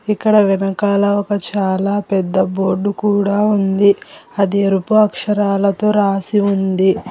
ఇక్కడ వెనకాల ఒక చాలా పెద్ద బోర్డు కూడా ఉంది అది ఎరుపు అక్షరాలతో రాసి ఉంది.